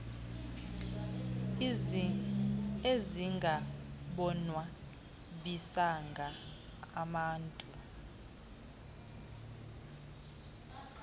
ezingabonwa bisanga amantu